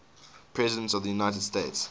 presidents of the united states